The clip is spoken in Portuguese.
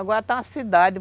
Agora está uma cidade.